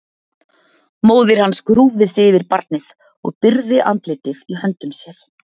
Móðir hans grúfði sig yfir barnið og byrgði andlitið í höndum sér.